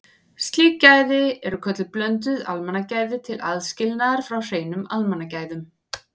Slík gæði eru kölluð blönduð almannagæði til aðskilnaðar frá hreinum almannagæðum.